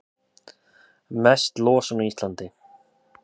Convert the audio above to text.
Mest losun á Íslandi